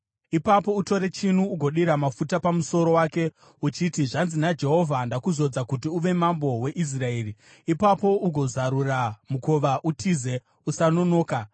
Ipapo utore chinu ugodira mafuta pamusoro wake uchiti, ‘Zvanzi naJehovha: Ndakuzodza kuti uve mambo weIsraeri.’ Ipapo ugozarura mukova utize; usanonoka!”